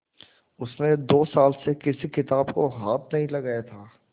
उसने दो साल से किसी किताब को हाथ नहीं लगाया था